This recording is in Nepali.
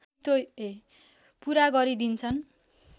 पुरा गरी दिन्छन्